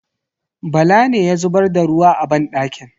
Bala ne ya zubar da ruwa a banɗakin.